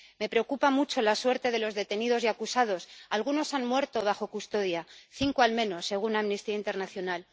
Me preocupa mucho la suerte de los detenidos y acusados, algunos de los cales han muerto bajo custodia —cinco al menos, según Amnistía Internacional—.